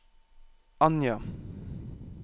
Anja